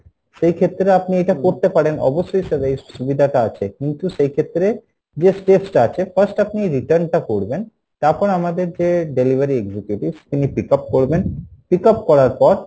সেই ক্ষেত্রে আপনি এটা করতে পারেন অবশ্যই sir এই সুবিধা টা আছে কিন্তু সেই ক্ষেত্রে যে steps টা আছে first আপনি return টা করবেন, তারপর আমাদের যে delivery executives উনি pick up করবেন pickup করার পর